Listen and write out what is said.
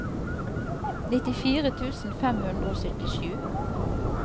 nittifire tusen fem hundre og syttisju